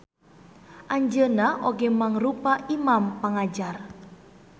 Anjeunna oge mangrupa imam pangajar.